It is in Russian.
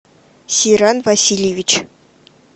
сиран васильевич